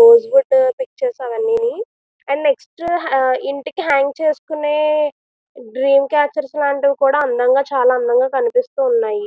Rose would ఓ pictures అన్నమాట next అన్ని ఇంటికి హ్యాంగ్ చేసుకునే డ్రీమ్ క్యాచర్స్ కూడా అందంగా చాలా అందంగా కనిపిస్తున్నాయి.